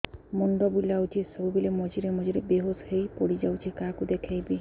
ମୁଣ୍ଡ ବୁଲାଉଛି ସବୁବେଳେ ମଝିରେ ମଝିରେ ବେହୋସ ହେଇ ପଡିଯାଉଛି କାହାକୁ ଦେଖେଇବି